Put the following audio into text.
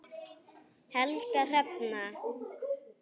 Helga Hrefna.